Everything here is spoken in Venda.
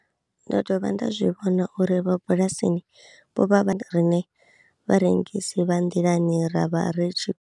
Ndo dovha nda zwi vhona uri vhorabulasi vho vha vha riṋe vharengisi vha nḓilani ra vha ri tshi.